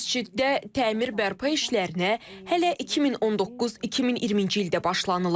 Məsciddə təmir bərpa işlərinə hələ 2019-2020-ci ildə başlanılıb.